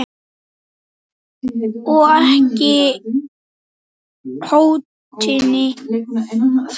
Og ekki hótinu fleiri.